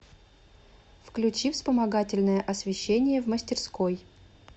включи вспомогательное освещение в мастерской